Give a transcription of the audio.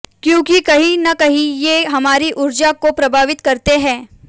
क्योंकि कहीं न कहीं ये हमारी ऊर्जा को प्रभावित करते हैं